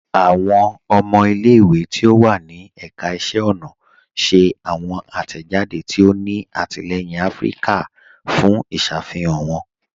Awọn ọmọ ilẹ̀-ìwé tí ó wà ní èkà ìṣẹ̀ ọna ṣẹ̀ awọn atẹ́jàdé tí ó ní àtìlẹyìn Afíríkà fún ìṣàfihàn wọn